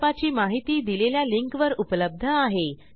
प्रकल्पाची माहिती दिलेल्या लिंकवर उपलब्ध आहे